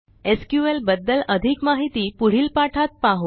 SQL बद्दल अधिक माहिती पुढील पाठात पाहू